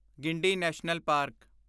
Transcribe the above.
Guindy national park